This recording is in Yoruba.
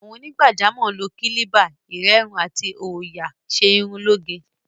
Àwọn onígbàjámọ̀ ń lo kílíbà, ìrẹ́run àti òòyà ṣe irun lóge.